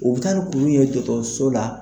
U bɛ taa ni kuru in ye dɔgɔtɔrɔso la.